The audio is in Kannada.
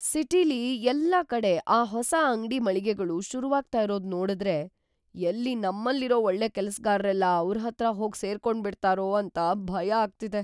ಸಿಟಿಲಿ ಎಲ್ಲಾ ಕಡೆ ಆ ಹೊಸ ಅಂಗ್ಡಿ ಮಳಿಗೆಗಳು ಶುರುವಾಗ್ತಾ ಇರೋದ್‌ ನೋಡುದ್ರೆ ಎಲ್ಲಿ ನಮ್ಮಲ್ಲಿರೋ ಒಳ್ಳೆ ಕೆಲ್ಸ್‌ಗಾರ್ರೆಲ್ಲ ಅವ್ರ್‌ ಹತ್ರ ಹೋಗ್ ಸೇರ್ಕೊಂಡ್ಬಿಡ್ತಾರೋ ಅಂತ ಭಯ ಆಗ್ತಿದೆ.